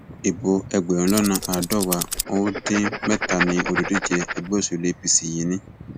ibo ẹgbẹrún lọnà àádọwàá n ó dín mẹtàánì olùdíje ẹgbẹ òṣèlú apc yìí ni